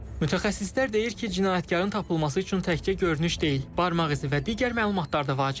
Mütəxəssislər deyir ki, cinayətkarın tapılması üçün təkcə görünüş deyil, barmaq izi və digər məlumatlar da vacibdir.